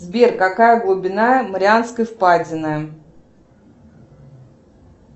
сбер какая глубина марианской впадины